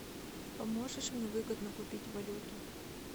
поможешь мне выгодно купить валюту